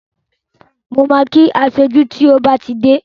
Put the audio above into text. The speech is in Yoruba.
Mo ma kí aṣojú tí ó bá ti dé bí